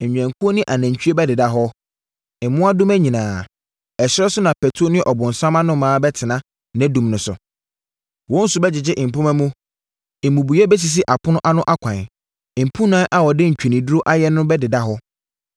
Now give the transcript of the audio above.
Nnwankuo ne anantwie bɛdeda hɔ, mmoadoma nyinaa. Ɛserɛ so patuo ne ɔbonsam anoma bɛtena nʼadum no so. Wɔn su bɛgyegye mpomma mu, mmubuiɛ bɛsisi apono ano akwan, mpunan a wɔde ntweneduro ayɛ no ho bɛdeda hɔ.